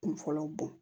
Kun fɔlɔ bɔn